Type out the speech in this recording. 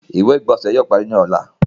Ìwé-ìgbónsẹ̀ yóò pàrí ní ọ̀là.